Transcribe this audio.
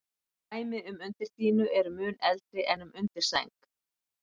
Dæmi um undirdýnu eru mun eldri en um undirsæng.